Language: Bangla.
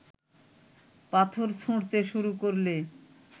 পাথর ছুঁড়তে শুরু করলে